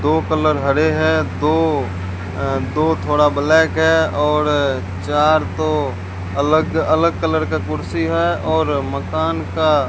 दो कलर हरे हैं दो अह दो थोड़ा ब्लैक है और चार तो अलग अलग कलर का कुर्सी है और मकान का --